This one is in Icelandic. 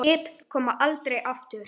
Skip koma aldrei aftur.